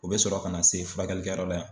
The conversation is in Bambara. O bɛ sɔrɔ ka na se furakɛlikɛyɔrɔ yan.